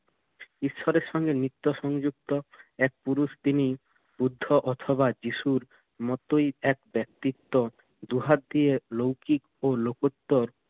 ঈশ্বরের সঙ্গে নিত্য সংযুক্ত এক পুরুষ তিনি বুদ্ধ অথবা যীশুর মতোই এক ব্যক্তিত্ব। দু হাত দিয়ে লৌকিক ও লোকোত্তর